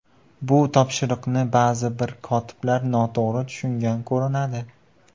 Bu topshiriqni ba’zi bir kotiblar noto‘g‘ri tushungan ko‘rinadi.